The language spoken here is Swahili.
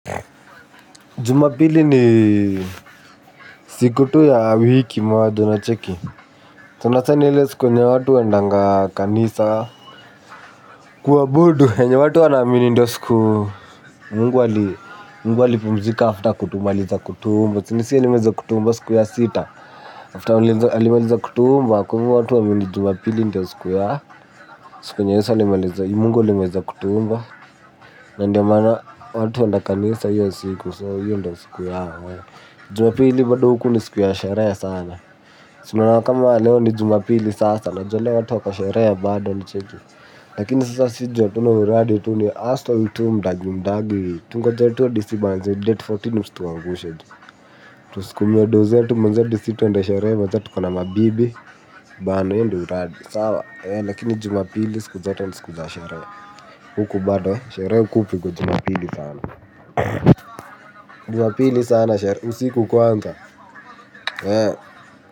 Jumapili ni siku tu ya wiki moja unacheki. Sana sana ile siku yenye watu wanaendanga kanisa. Kuabudu, yenye watu wanaamini ndiyo siku. Mungu ali pumzika afta kumaliza kutuumba. Chini si ya li meza kutu mba siku ya sita. Afta alimaliza kutuumba, kwa hivo watu huamini jumapili ndiyo siku ya Siku Yesu alimaliza mungu ali maliza kutuumba. Na ndio maana watu huenda kanisa hiyo siku so hiyo ndo siku yao. Jumapili bado huku ni siku ya sherehe sana. Si unaona kama leo ni jumapili sasa najua leo watu wako sherehe bado unacheki. Lakini sasa sisi hatuna uradi tu ya huste tu mdagi mdagi. Tungoje tu disi banzi date kumi na nne msituangushe. Tusukumie doo zetu menje adi si tuende sherehe moja tuko na mabibi. Bana hio ndio uradi. Sawa? Ee lakini jumapili siku zote ni siku za sherehe. Huku bado sherehe huku hupigwa jumapili sana. Jumapili sana sherehe usiku kwanza.